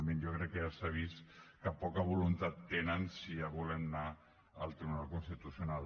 jo crec que ja s’ha vist que poca voluntat tenen si ja volen anar al tribunal constitucional